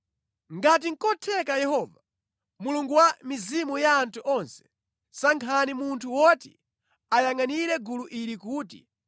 “Ngati nʼkotheka Yehova, Mulungu wa mizimu ya anthu onse, sankhani munthu woti ayangʼanire gulu ili kuti